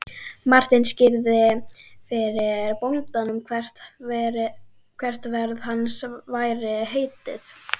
Marteinn skýrði fyrir bóndanum hvert ferð hans væri heitið.